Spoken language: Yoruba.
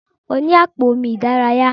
Mo ni àpò omi ìdárayá.